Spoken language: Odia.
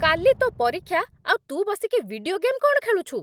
କାଲି ତୋ' ପରୀକ୍ଷା, ଆଉ ତୁ ବସିକି ଭିଡିଓ ଗେମ୍ କ'ଣ ଖେଳୁଛୁ ?